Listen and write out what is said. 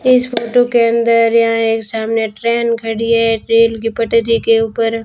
इस फोटो के अंदर यहां एक सामने ट्रेन खड़ी है रेल की पटरी के ऊपर --